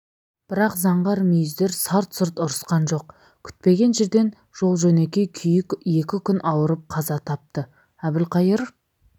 бірақ заңғар мүйіздер сарт-сұрт ұрысқан жоқ күтпеген жерден жол-жөнекей күйік екі күн ауырып қаза тапты әбілқайыр